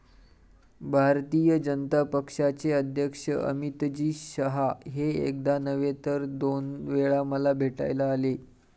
भारतीय जनता पक्षाचे अध्यक्ष अमितजी शहा हे एकदा नव्हे, तर दोन वेळा मला भेटायला आले.